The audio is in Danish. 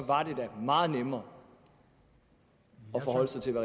var det da meget nemmere at forholde sig til